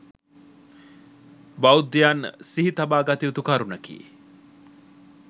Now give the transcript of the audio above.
බෞද්ධයන් සිහි තබා ගත යුතු කරුණකි.